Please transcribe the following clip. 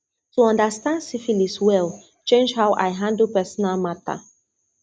to understand syphilis well change how i handle personal matter